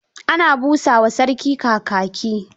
Ana busa wa sarki Kakaki.